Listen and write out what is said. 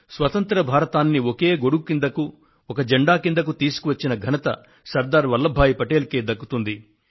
స్వతంత్ర భారతాన్ని ఒకే గొడుగు కిందకు ఒక జెండా కిందకు తీసుకువచ్చిన ఘనత సర్దార్ వల్లభాయ్ పటేల్ కే దక్కుతుంది